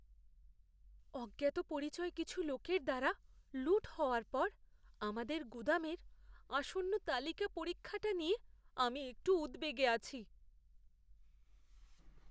অজ্ঞাতপরিচয় কিছু লোকের দ্বারা লুঠ হওয়ার পর আমাদের গুদামের আসন্ন তালিকা পরীক্ষাটা নিয়ে আমি একটু উদ্বেগে আছি।